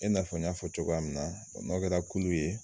E n'a fɔ n y'a fɔ cogoya min na bɔn n'aw kɛra kulu ye